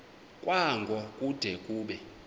kwango kude kube